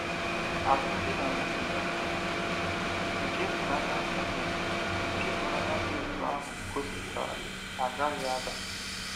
Alụmdi na nwunye nke ịhụnanya nwunye nke ịhụnanya dị otú ahụ gosipụtara agaghị ada.